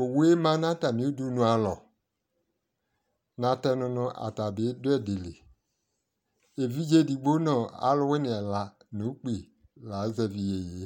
owue ma no atame udunu alɔ, natɛno no ata bi do ɛdi li evidze edigbo no alowini ɛla no ukpi la azɛvi yeye